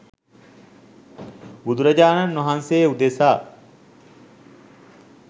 බුදුරජාණන් වහන්සේ උදෙසා